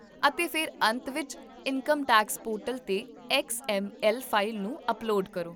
ਅਤੇ ਫਿਰ ਅੰਤ ਵਿੱਚ ਇਨਕਮ ਟੈਕਸ ਪੋਰਟਲ 'ਤੇ ਐਕਸ ਐੱਮ ਐਲ ਫਾਈਲ ਨੂੰ ਅਪਲੋਡ ਕਰੋ